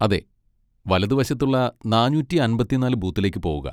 അതെ, വലതുവശത്തുള്ള നാനൂറ്റി അമ്പത്തി നാല് ബൂത്തിലേക്ക് പോകുക.